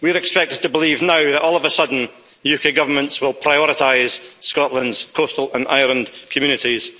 We're expected to believe now that, all of a sudden, UK governments will prioritise Scotland's coastal and island communities.